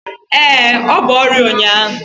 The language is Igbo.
Ee, ọ bu ọrịa ụnyaahụ